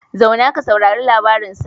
Zauna ka saurari labarin sa